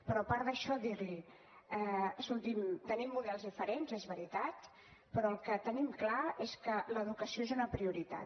però a part d’això dir li escolti’m tenim models diferents és veritat però el que tenim clar és que l’educació és una prioritat